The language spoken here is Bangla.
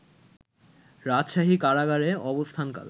রাজশাহী কারাগারে অবস্থানকালে